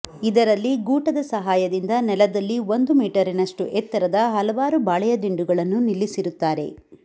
ಇದರಲ್ಲಿ ಗೂಟದ ಸಹಾಯದಿಂದ ನೆಲದಲ್ಲಿ ಒಂದು ಮೀಟರಿನಷ್ಟು ಎತ್ತರದ ಹಲವಾರು ಬಾಳೆಯ ದಿಂಡುಗಳನ್ನು ನಿಲ್ಲಿಸಿರುತ್ತಾರೆ